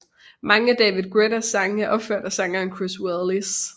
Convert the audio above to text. Mange af David Guettas sange er opført af sangeren Chris Willis